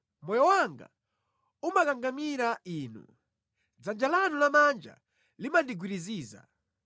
Moyo wanga umakangamira Inu; dzanja lanu lamanja limandigwiriziza.